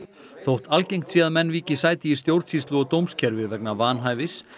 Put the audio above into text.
þótt algengt sé að menn víki sæti í stjórnsýslu og dómskerfi vegna vanhæfis